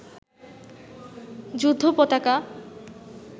যুদ্ধ পতাকা